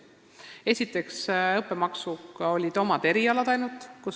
Esiteks võeti õppemaksu ainult teatud erialadel.